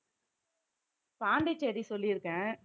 பாண்டிச்சேரி சொல்லிருக்கேன்